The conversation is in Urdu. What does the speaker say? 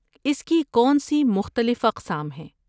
اس کی کون سی مختلف اقسام ہیں؟